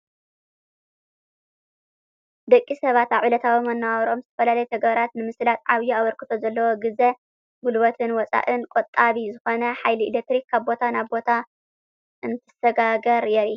ደቂ ሰባት አብ ዕለታዊ መነባብረኦም ዝተፈላለዩ ተግባራት ንምስላጥ ዓብዪ አበርክቶ ዘለዎ ግዘ ጉልበትን ወፃእን ቆጣቢ ዝኮነ ሓይሊ ኤሌክትሪክ ካብ ቦታ ናብ ቦታ እንትሰጋገር የርኢ።